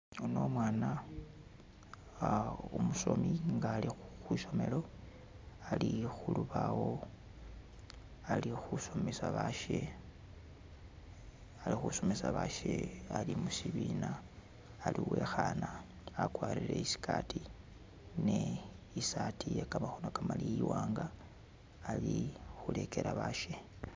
Ono umwana umusoni nga ali kwisomelo ali khu lubaawo ali khusomesa bashe ali khusomesa bashe ali mushibina ali wekhana agwarile isikati ni isaati yegamakhono maleyi iwanga ali khulegela bashe.